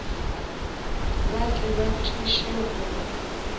ba tle ba thuše go